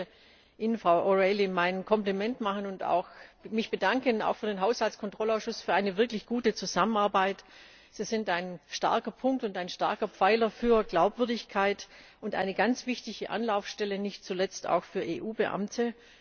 Ich möchte Ihnen, Frau O'Reilly, mein Kompliment machen und mich auch bedanken, auch für den Haushaltskontrollausschuss, für eine wirklich gute Zusammenarbeit. Sie sind ein starker Punkt und ein starker Pfeiler für Glaubwürdigkeit und eine ganz wichtige Anlaufstelle, nicht zuletzt auch für EU Beamte.